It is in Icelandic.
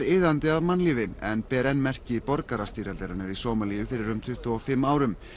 iðandi af mannlífi en ber enn merki borgarastyrjaldarinnar í Sómalíu fyrir um tuttugu og fimm árum